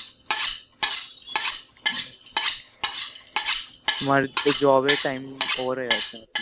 তোমার তো job এর time over হয়ে গেছে